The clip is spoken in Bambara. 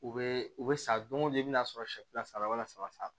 U bɛ u bɛ san don o don i bɛ n'a sɔrɔ siyɛfula sara walasa